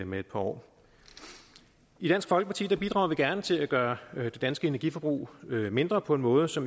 med et par år i dansk folkeparti bidrager vi gerne til at gøre det danske energiforbrug mindre på en måde så